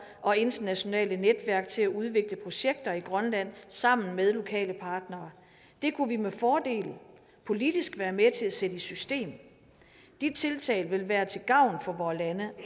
og internationale netværk til at udvikle projekter i grønland sammen med lokale partnere det kunne vi med fordel politisk være med til at sætte i system de tiltag vil være til gavn for vore lande